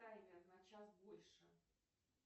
таймер на час больше